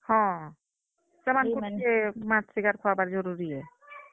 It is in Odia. ସେମାନ୍ ଙ୍କେ ମାନ୍ ଙ୍କେ ମାଛ ,ଶିକାର୍ ଖୁଆବାର୍ ଜରୁରୀ ଆଏ।